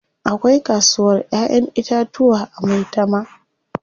Akwai kasuwar Ƴaƴan itatuwa a Maitama.